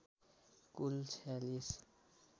कुल ४६